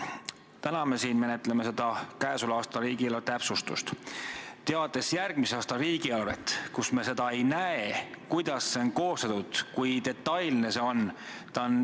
Täna me menetleme siin käesoleva riigieelarve täpsustust, teades, et järgmise aasta riigieelarve puhul me ei näe, kuidas see on koostatud, kui detailne see on.